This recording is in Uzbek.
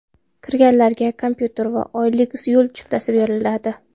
Kirganlarga kompyuter va oylik yo‘l chiptasi beriladi.